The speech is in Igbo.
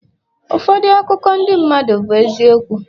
ụfọdụ akụkọ ndị mmadụ bụ eziokwu